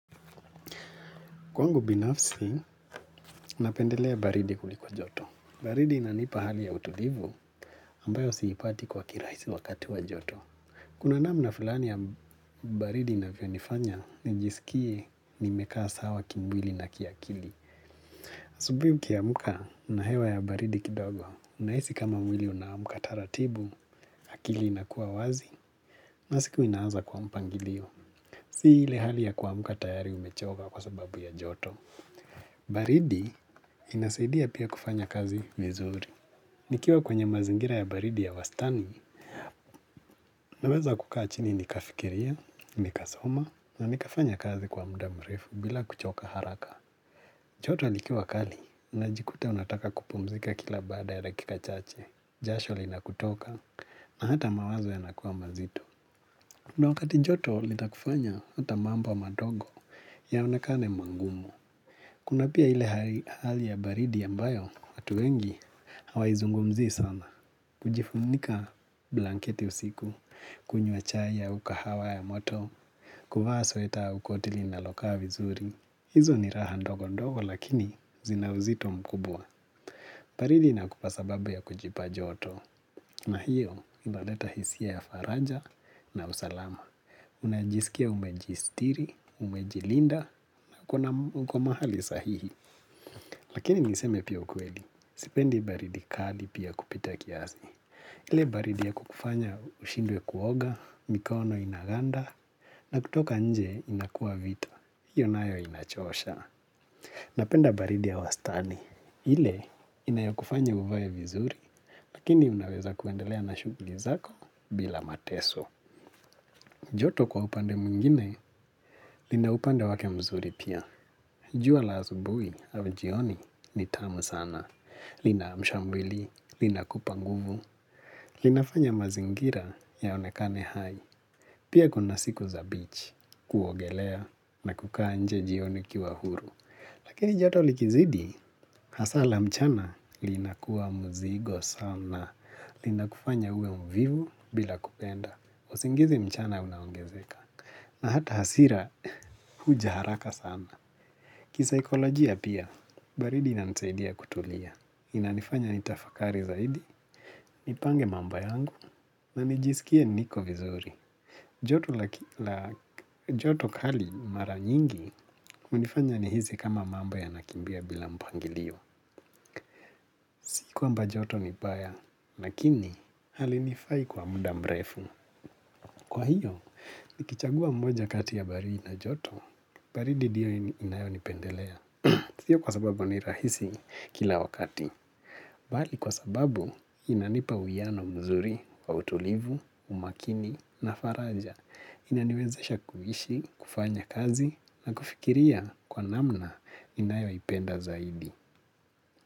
Kwangu binafsi, napendelea baridi kuliko joto. Baridi inanipa hali ya utulivu, ambayo siipati kwa kirahisi wakati wa joto. Kuna namna fulani ya baridi inanifanya, nijiskie nimekaa sawa kimwili na kiakili. Asubuhi ukiamka, unahewa ya baridi kidogo. Unahisi kama mwili unaamka taratibu, akili inakuwa wazi, na siku inaanza kwa mpangilio. Si ile hali ya kuamka, tayari umechoka kwa sababu ya joto. Baridi, inasaidia pia kufanya kazi vizuri. Nikiwa kwenye mazingira ya baridi ya wastani. Naweza kukaa chini nikafikiria, nikasoma na nikafanya kazi kwa muda mrefu bila kuchoka haraka. Joto likiwa kali najikuta unataka kupumzika kila baada ya dakika chache, jasho linakutoka na hata mawazo yanakuwa mazito. Na wakati joto, litakufanya hata mambo madogo yaonekane magumu. Kuna pia ile hali ya baridi ambayo, watu wengi, hawaizungumzi sana. Kujifunika blanketi usiku, kunywa chai ya ukahawa ya moto, kuvaa sweta ua koti linalokaa vizuri. Hizo ni raha ndogo ndogo, lakini zina uzito mkubwa. Baridi inakupa sababu ya kujipa joto. Na hiyo, inaleta hisia ya faraja na usalama. Unajisikia umejistiri, umejilinda na kuna-- uko mahali sahihi. Lakini niseme pia ukweli, sipendi baridi kali pia kupita kiasi. Ile baridi ya kukufanya ushindwe kuoga, mikono inaganda, na kutoka nje inakua vita, hiyo nayo inachosha. Napenda baridi ya wastani. Ile inayokufanya uvae vizuri, lakini unaweza kuendelea na shughuli zako bila mateso. Joto kwa upande mwingine, lina upande wake mzuri pia. Jua la asubuhi au jioni ni tamu sana. Lina mshambili, linakupa nguvu, linafanya mazingira yaonekane hai. Pia kuna siku za "beach", kuogelea na kukaa nje jioni ukiwa huru. Lakini joto likizidi, hasa la mchana, linakuwa mzigo sana. Lina kufanya uwe mvivu bila kupenda. Usingizi mchana unaongezeka. Na hata hasira huja haraka sana. Kisaikolojia pia, baridi inanisaidia kutulia. Inanifanya nitafakari zaidi, nipange mambo yangu, na nijisikie niko vizuri. Joto kali mara nyingi, hunifanya nihisi kama mambo yanakimbia bila mpangilio. Kwamba joto ni mbaya, lakini halinifai kwa muda mrefu. Kwa hiyo, nikichagua mmoja kati ya baridi na joto, baridi ndio inayonipendelea. Sio kwa sababu ni rahisi kila wakati. Bali kwa sababu inanipa uyano mzuri wa utulivu, umakini na faraja. Inaniwezesha kuhishi, kufanya kazi na kufikiria kwa namna inayoipenda zaidi.